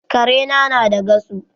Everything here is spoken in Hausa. Kare na na da gasu